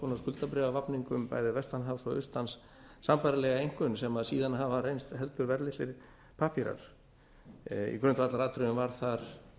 konar skuldabréfavafningum bæði vestan hafs og austan sambærilega einkunn sem síðan hafa reynst heldur verðlausir pappírar í grundvallaratriðum var þar